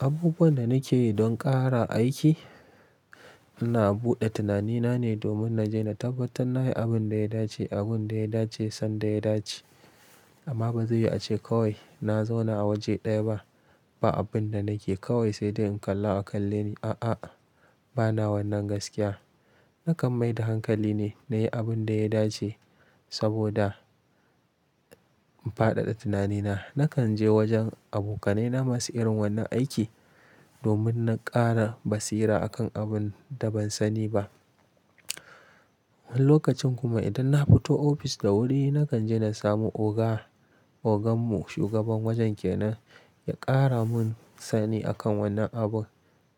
Abubuwan da nake yi don ƙara aiki, ina buɗe tunanina ne domin na je na tabbatar na yi abin da ya dace, abin da ya dace, sanda ya dace. Amma ba zai yi a ce kawai na zauna a waje ɗaya ba, ba abin da nake kawai sai dai in kalla a kalle ni, a'a, bana wannan gaskiya. Nakan mai da hankali ne na yi abin da ya dace, saboda in faɗaɗa tunanina. Nakan je wajen abokanaina masu irin wannan aiki, domin na ƙara basira a kan abin da ban sani ba. Lokacin kuma idan na fito ofis da wuri, nakan je na samu oga, oganmu shugaban wajen kenan, ya ƙara mun sani akan wannan abun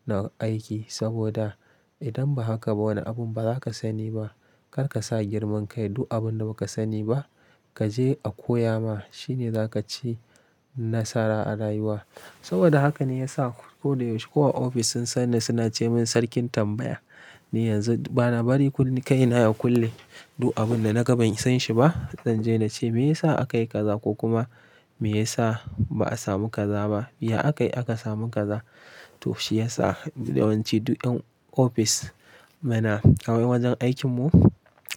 na aiki, saboda idan ba haka ba wani abun ba za ka sani ba. Kar ka sa girman kai du abun da ba ka sani ba kaje a koya ma shine za ka ci nasara a rayuwa. Saboda haka ne ya sa ko da yaushe ko a ofis sun sanni suna ce mun sarkin tambaya. Ni yanzu bana bari kuli, kaina ya kulle, du abun da naga ban san shi ba Zan je na ce me yasa aka yi kaza? Ko kuma me yasa ba a samu kaza ba? Ya aka yi aka samu kaza? To shi ya sa yawanci duk ƴan ofis muna, kaman wajen aikin mu,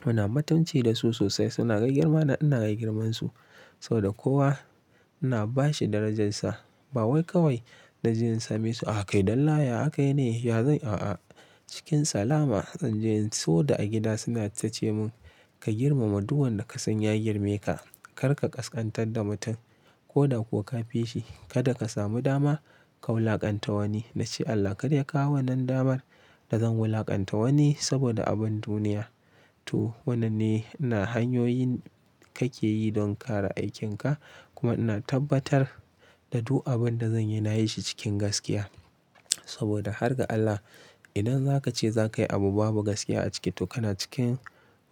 muna mutunci da su sosai. Suna ga girma na ina ga girmansu. Saboda kowa ina bashi darajarsa. Ba wai kawai na je in same su, ah kai dalla ya aka yi ne? Ya zan a'a. Cikin salama zan je, saboda a gida suna ta ce mun ka girmama duk wanda ka san ya girmeka. Kar ka ƙasƙantar da mutum ko da kuwa ka fi shi. Kada ka samu dama ka wulaƙanta wani, na ce Allah kada ya kawo wannan damar da zan wulaƙanta wani saboda abun duniya. To wannan ne ina hanyoyin kake yi don kare aikinka, kuma ina tabbatar da duk abun da zan yi na yi shi cikin gaskiya. Saboda har ga Allah idan za ka ce za ka yi abu babu gaskiya a ciki to kana cikin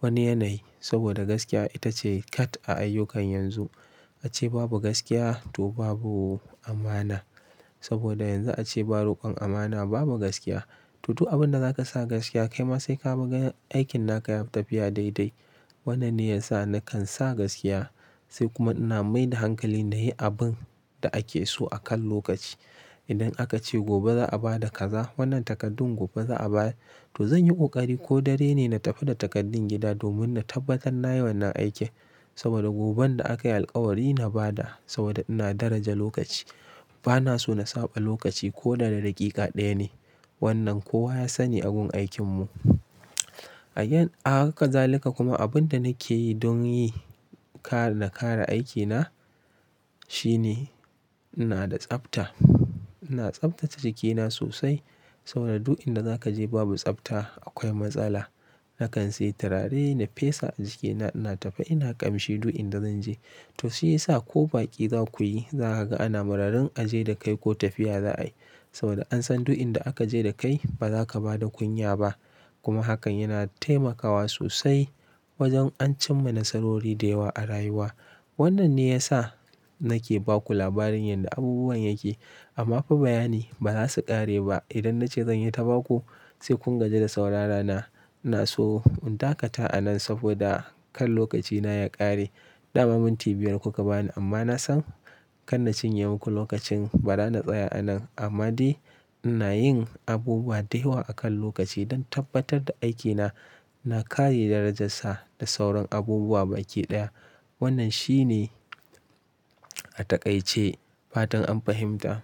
wani yanayi. Saboda gaskiya ita ce kat a ayyukan yanzu. A ce babu gaskiya to babu amana. Saboda yanzu a ce ba ruƙon amana babu gaskiya. To duk abun da za ka sa gaskiya kai ma sai ka fi ganin aikin naka ya fi tafiya daidai. Wannan ne ya sa nakan sa gaskiya, sai kuma ina mai da hankali na yi abun da ake so a kan lokaci. Idan aka ce gobe za'a ba da kaza, wannan takardun gobe za'a bayar to zan yi ƙoƙari ko dare ne na tafi da takardun gida domin na tabbatar na yi wannan aikin. Saboda goben da aka yi alkawari na ba da, saboda ina daraja lokaci. Bana so na saɓa lokaci koda da daƙiƙa ɗaya ne. Wannan kowa ya sani agun aikin mu. Again, a haka zalika kuma abun da nake yi don yi, kare, na kare aikina, shine ina da tsafta. Ina tsaftace jikina sosai, saboda duk inda za ka je babu tsafta akwai matsala. Nakan sayi turare na fesa a jikina. Ina tafe ina ƙamshi duk inda zan je. To shi ya sa ko baƙi za ku yi za ka ga ana mararin a je da kai ko tafiya za a yi. Saboda an san duk inda aka je da kai ba za ka ba da kunya ba. Kuma hakan yana taimakawa sosai wajen ancin ma nasarori da yawa a rayuwa. Wannan ne ya sa nake ba ku labarin yanda abubuwan yake. Amma fa bayani ba za su ƙare ba, idan na ce zan yi ta ba ku sai kun gaji da saurara na. Ina so in dakata a nan saboda kar lokacina ya ƙare. Daman minti biyar kuka bani, amma na san kanna cinye muku lokacin bara na tsaya a nan. Amma dai ina yin abubuwa da yawa a kan lokaci, don tabbatar da aikina na kare darajarsa da sauran abubuwa baki ɗaya. Wannan shi ne a taƙaice fatan an fahimta.